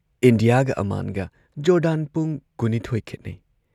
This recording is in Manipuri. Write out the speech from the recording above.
ꯏꯟꯗꯤꯌꯥꯒ ꯑꯃꯥꯟꯒ ꯖꯣꯔꯗꯥꯟ ꯄꯨꯡ ꯀꯨꯟ ꯅꯤꯊꯣꯏ ꯈꯣꯠꯅꯩ ꯫